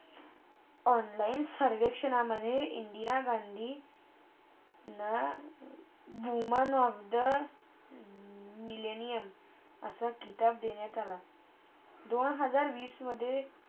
Online सरविषणामधे इंदिरा गांधी ना Women of the mellenium असा खिताब देण्यात आला. दोन हजार वीसमधे